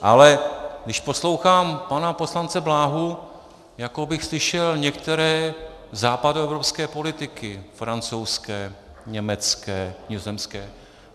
Ale když poslouchám pana poslance Bláhu, jako bych slyšel některé západoevropské politiky, francouzské, německé, nizozemské.